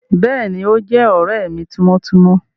Béèni, o jé òré mí timọtimọ